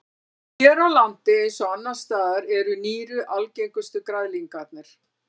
Hér á landi eins og annars staðar eru nýru algengustu græðlingarnir.